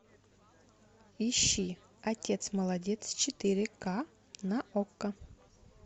ищи отец молодец четыре ка на окко